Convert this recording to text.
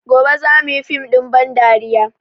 Gobe za mu yi fim ɗin ban dariya